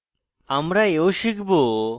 আমরা we শিখব: